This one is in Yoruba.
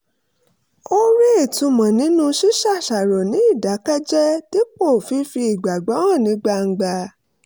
ó rí ìtumọ̀ nínú ṣíṣàṣàrò ní ìdákẹ́jẹ́ẹ́ dípò fífi ìgbàgbọ́ hàn ní gbangba